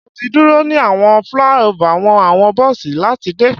Mo ti duro ni awọn flyover fun awọn bosi lati de